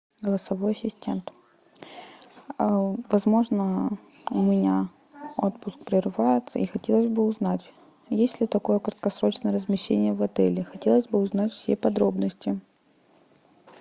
голосовой ассистент возможно у меня отпуск прерывается и хотелось бы узнать есть ли такое краткосрочное размещение в отеле хотелось бы узнать все подробности